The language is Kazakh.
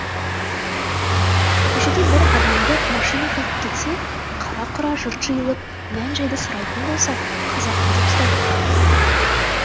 көшеде бір адамды машина қағып кетсе қара құра жұрт жиылып мән жайды сұрайтын болса қазақ па деп сұрайтын